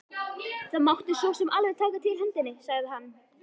Það mátti sosum alveg taka til hendinni, sagði hann.